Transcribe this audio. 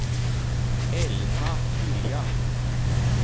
Elna Lilja